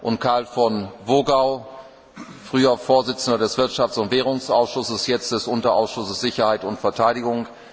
und Karl von Wogau, ehemaliger Vorsitzender des Wirtschafts und Währungsausschusses, jetzt des Unterausschusses Sicherheit und Verteidigung.